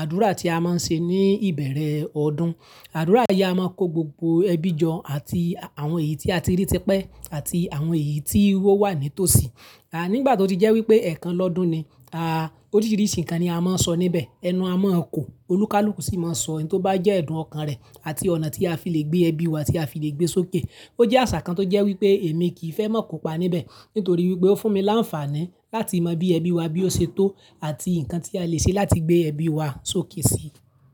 àdúrà tí a máa ń ṣe ní ìbẹ̀rẹ̀ ọdún. Àdúrà yìí a máa ń kó gbogbo ẹbí jọ àti àwọn èyí tí a ti rí ti pe àti àwọn èyí tí wón wà ní tòsí. Nígbà tó ti jẹ́ wípé ẹ̀kan lọ́dún ni, à, oríṣiríṣi nǹkan ni a máa ń sọ níbẹ̀. Ẹnu a mo ko, olúkalúkù sì máa ń sọ ohun tó bá jẹ́ ẹ̀dùn ọkàn rẹ̀ àti ọ̀nà tí a fi le gbé ẹbí wa tí a fi le gbé sókè. Ó jẹ́ àṣà kan tó jẹ́ wípé èmi kì í fẹ́ mọ̀ kópa níbẹ̀ nítorí wípé ó fún mi láǹfààní láti mọ bí ẹbí wa bí ó ṣe tó àti nǹkan tí a lè ṣe láti gbé ẹbí wa sókè si.